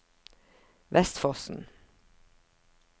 Vestfossen